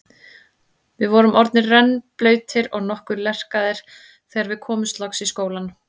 Við vorum orðnir rennblautir og nokkuð lerkaðir þegar við komumst loks í skólann.